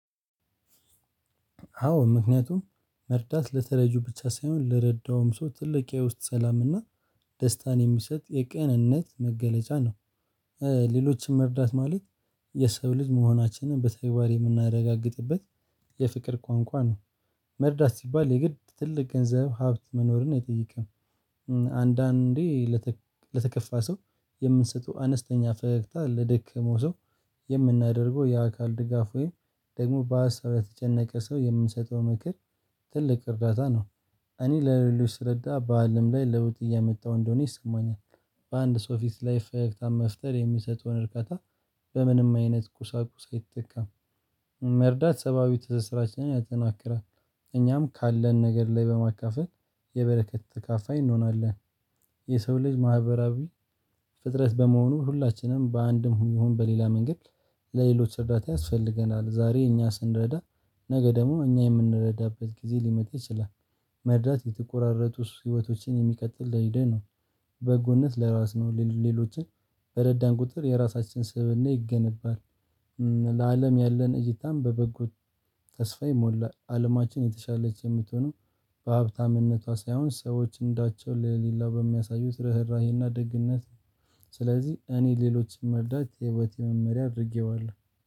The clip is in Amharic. አዎ ምክንያቱም መርዳት ለተረጁ ብቻ ሳይሆን ለረዳውም ሰው ትልቅ ያው ውስጥ ሰላም እና ደስታን የሚሰጥ የቅንነት መገለጫ ነው። ሌሎችን መርዳት ማለት የሰው ልጅ መሆናችንን በተግባር የምናረጋግጥበት የፍቅር ቋንቋ ነው። መርዳት ሲባል የግድ ትልቅ ገንዘብ ሀብት መኖርን ነው አይጠይቅም። አንዳንዴ ለተከፋ ሰው የምንሰጠው አነስተኛ ፈገግታ ለደከመው ሰው የምናደርገው የአካል ድጋፍ ወይም ደግሞ በሀሳብ የተጨነቀ ሰው የምንሰጠው ምክር ትልቅ እርዳታ ነው። እኔ ለሌሎች ስረዳ በአለም ላይ ለውጥ እያመጣሁ እንደሆነ ይሰማኛል። በአንድ ሰው ፊት ላይ ፈገግታን መፍጠር የሚሰጠውን እርካታ በምንም አይነት ቁሳቁስ አይተካም። መርዳት ሰብአዊ ትስስራችንን ያጠናክራል። እኛም ካለን ነገር ላይ በማካፈል የበረከት ተካፋይ እንሆናለን። የሰው ልጅ ማህበራዊ ፍጥረት በመሆኑ ሁላችንም በአንድም ይሁን በሌላ መንገድ ለሌሎች እርዳታ ያስፈልገናል። ዛሬ እኛ ስንረዳ ነገ ደግሞ እኛ የምንረዳበት ጊዜ ሊመጣ ይችላል። መርዳት የተቆራረጡት ህይወቶችን የሚቀጥል ለሂደን ነው። በጎነት ለራስ ነው ሌሎችን በረዳን ቁጥር የራሳችን ስብእና ይገነባል። ለአለም ያለን እይታም በበጎ ተስፋ የሞላ አለማችን የተሻለች የምትሆነው በሀብታምነቷ ሳይሆን ሰዎች እንዳቸው ለሌላ በሚያሳዩት ርህራሄና ደግነት ነው። ስለዚህ እኔ ሌሎች መርዳት የህይወቴ መመሪያ አድርጌዋለሁ